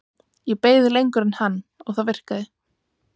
Ég beið lengur en hann og það virkaði.